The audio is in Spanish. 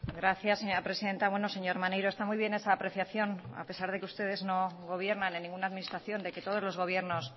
gracias señora presidenta bueno señor maneiro está muy bien esa apreciación a pesar de que ustedes no gobiernan en ninguna administración de que todos los gobiernos